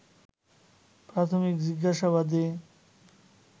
প্রাথমিক জিজ্ঞাসাবাদে